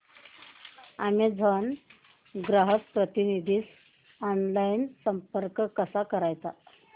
Amazon ग्राहक प्रतिनिधीस online संपर्क कसा करायचा